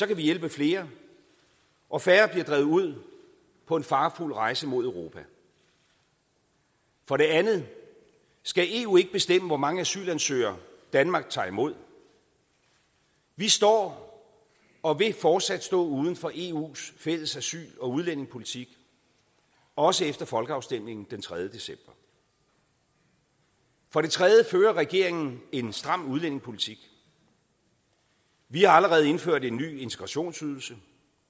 vi hjælpe flere og færre bliver drevet ud på en farefuld rejse mod europa for det andet skal eu ikke bestemme hvor mange asylansøgere danmark tager imod vi står og vil fortsat stå uden for eu’s fælles asyl og udlændingepolitik også efter folkeafstemningen den tredje december for det tredje fører regeringen en stram udlændingepolitik vi har allerede indført en ny integrationsydelse